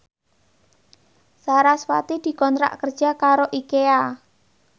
sarasvati dikontrak kerja karo Ikea